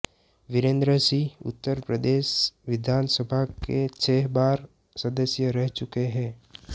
वीरेंद्र सिंह उत्तर प्रदेश विधानसभा के छह बार सदस्य रह चुके हैं